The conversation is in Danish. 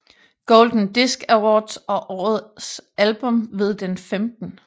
Golden Disc Awards og årets album ved den 15